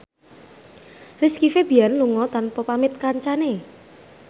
Rizky Febian lunga tanpa pamit kancane